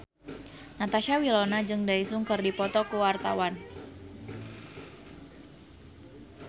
Natasha Wilona jeung Daesung keur dipoto ku wartawan